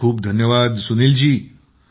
खूप खूप धन्यवाद सुनील जी